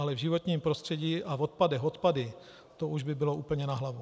Ale v životním prostředí a v odpadech odpady, to už by bylo úplně na hlavu.